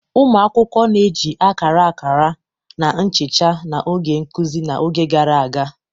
Ụmụ akwụkwọ na-eji akara, akara, na nchicha n'oge nkuzi n'oge gara aga.